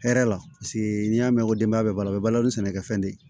Hɛrɛ la paseke n'i y'a mɛn ko denbaya bɛ balo a bɛ balo ni sɛnɛkɛfɛn de ye